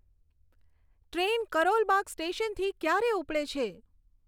train Karol Bagh સ્ટેશનથી ક્યારે ઉપડે છે